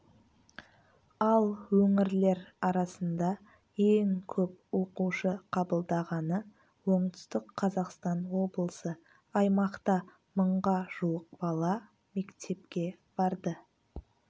ал өңірлер арасында ең көп оқушы қабылдағаны оңтүстік қазақстан облысы аймақта мыңға жуық бала мектепке барды